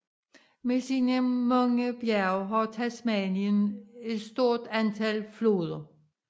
Med sine mange bjerge har Tasmanien et stort antal floder